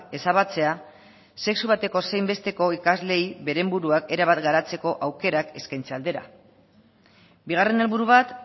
ezabatzea sexu bateko zein besteko ikasleei beren buruak erabat garatzeko aukerak eskaintzen aldera bigarren helburu bat